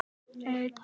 Þeim ferðum.